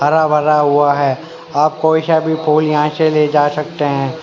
हरा भरा हुआ है आप कोई सा भी फूल यहां से ले जा सकते हैं।